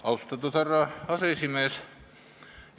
Austatud härra aseesimees!